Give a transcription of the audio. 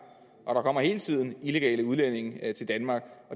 og der hele tiden kommer illegale udlændinge til danmark